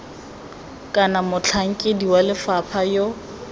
kana motlhankedi wa lefapha yo